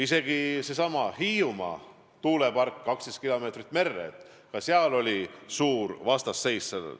Isegi seesama Hiiumaa tuulepark, mis peaks tulema 12 kilomeetri kaugusele merre – ka sellele oli suur vastuseis.